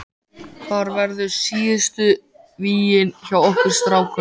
Hvar verða síðustu vígin hjá okkur strákunum?